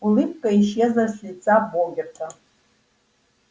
улыбка исчезла с лица богерта